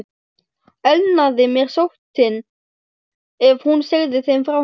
Elnaði mér sóttin, ef hún segði þeim frá henni?